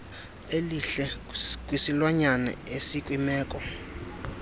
elihle kwisilwanyane esikwimeko